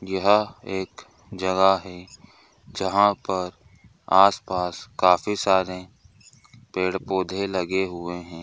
यह एक जगह है जहाँ पर आसपास काफी सारे पेड़ पौधे लगे हुए हैं।